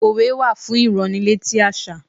Òwe wà fún ìránnilétí àṣà.